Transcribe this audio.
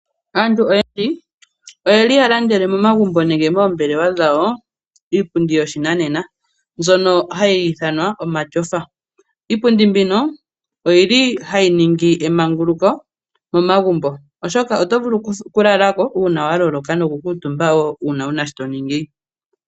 Aantu oyendji oyeli yalandele momagumbo nenge moombelewa dhawo iipundji yoshinanena mbyono hayi ithanwa omatyofa. Iipundi mbino oyili hayi ningi emanguluko momagumbo oshoka, oto vulu okulalako uuna waloloka nokukuutumba wo uuna wuna shotoningi.